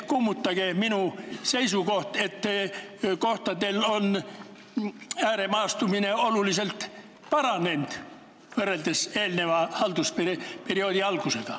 Kummutage minu seisukoht, et ääremaastumist on kohtadel oluliselt rohkem võrreldes eelneva haldusperioodi algusega.